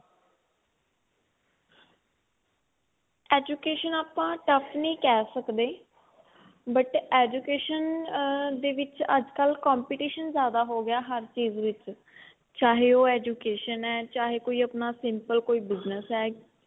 education ਆਪਾਂ tough ਨਹੀਂ ਕਹਿ ਸਕਦੇ but education ਦੇ ਵਿੱਚ ਅੱਜਕਲ competition ਜਿਆਦਾ ਹੋ ਗਿਆ ਹਰ ਚੀਜ ਵਿੱਚ ਚਾਹੇ ਕੋਈ education ਹੈ ਚਾਹੇ ਆਪਣਾ ਕੋਈ simple business ਹੈ